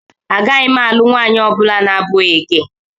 Agaghị m alụ nwaanyị ọ bụla na-abụghị gị.